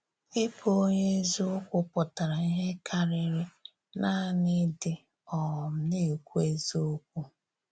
Ìbụ onye ezìokwu pụtara íhè kárịrị nanị idì um na-ekwù ezìokwu.